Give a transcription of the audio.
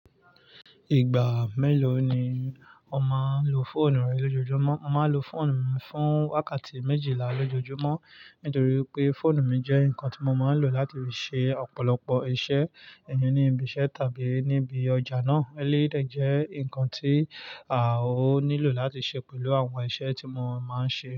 Ìgbà mélòó ni o máa ń lo fóònù rẹ lójoojúmọ́? Mo máa ń lo fóònù mi fún wákàtí méjìlá lójoojúmọ́ nítorí pé fóònù mi jẹ́ nǹkan tí mo máa ń lò láti lè ṣe ọ̀pọ̀lọpọ̀ iṣẹ́, ẹyin ní ibi iṣẹ́ tàbí níbi ọjà náà. Eleyii de jẹ́ nǹkan tí à ó nílò láti ṣe pẹ̀lú àwọn iṣẹ́ tí mo máa ń ṣe.